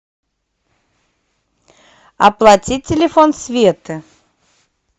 оплатить телефон светы